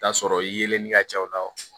T'a sɔrɔ yeelen ka ca o la